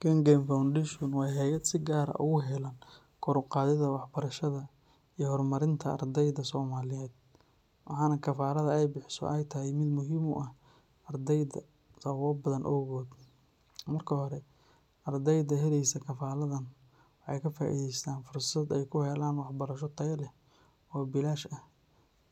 Kengen Foundation waa hay’ad si gaar ah ugu heelan kor u qaadidda waxbarashada iyo horumarinta ardayda Soomaaliyeed, waxaana kafaladda ay bixiso ay tahay mid muhiim u ah ardayda sababo badan awgood. Marka hore, ardayda helaysa kafaladdan waxay ka faa’iidaystaan fursad ay ku helaan waxbarasho tayo leh oo bilaash ah